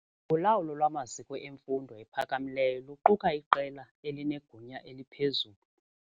Ulawulo lwamaziko emfundo ephakamileyo luquka iqela elinegunya eliphezulu.